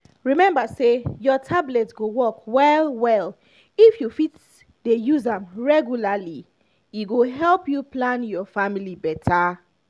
remember say your tablet go work well-well if you fit dey use am regularly. e go help you plan your family better.